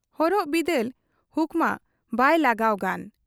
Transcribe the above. ᱦᱚᱨᱚᱜ ᱵᱤᱫᱟᱹᱞ ᱦᱩᱠᱢᱟ ᱵᱟᱭ ᱞᱟᱜᱟᱣ ᱜᱟᱱ ᱾